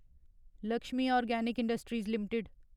Lakshmi organic industries limited